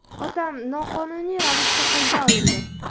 Otam noqonuniy ravishda qo‘lga olindi!